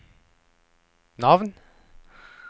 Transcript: navn